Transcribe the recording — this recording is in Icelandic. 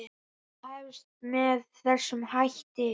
Það hefst með þessum hætti: